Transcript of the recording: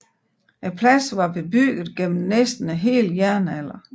Pladsen var bebygget gennem næsten hele jernalderen